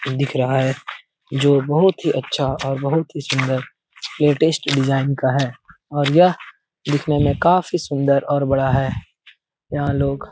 दिख रहा है जो बहुत ही अच्छा और बहुत ही सुन्दर लेटेस्ट डिजाइन का है और यह दिखने में काफी सुन्दर और बड़ा है। यहाँ लोग --